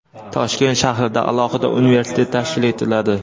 Toshkent shahrida alohida universitet tashkil etiladi.